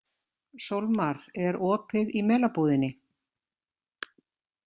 Sólmar, er opið í Melabúðinni?